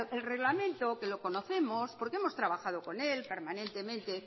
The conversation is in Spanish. el reglamento que lo conocemos porque hemos trabajado con él permanentemente